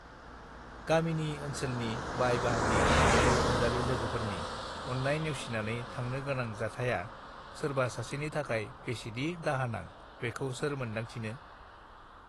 गामिनि ओनसोलनि बाय बाहागि अनजालु अनजालि लोगोफोरनि अन्नाय नेवसिनानै थांनो गोनां जाथाया सोरबा सासेनि थाखाय बेसेदि दाहानां बेखौ सोर मोन्दांथिनी